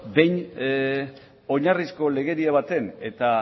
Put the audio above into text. beno behin oinarrizko legedia baten eta